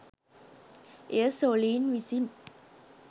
එය සොළීන් විසින්